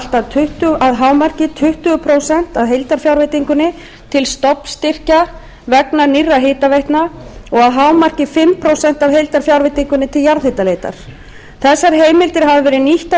að hámarki tuttugu prósent af heildarfjárveitingunni til stofnstyrkja vegna nýrra hitaveitna og að hámarki fimm prósent af heildarfjárveitingunni til jarðhitaleitar þessar heimildir hafa verið nýttar